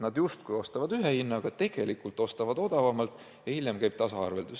Nad justkui ostavad ühe hinnaga, tegelikult ostavad odavamalt, aga hiljem käib tasaarveldus.